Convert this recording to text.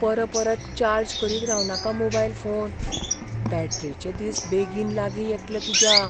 परपरत चार्ज करीत रावनाका मोबायल फोन. बॅटरेचे दीस बेगीन लागीं येतले तुज्या.